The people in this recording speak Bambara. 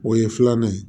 O ye filanan ye